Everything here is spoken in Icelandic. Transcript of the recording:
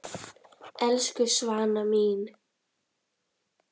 Elsku Svana mín.